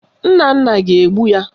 Nnanna ga-egbu ya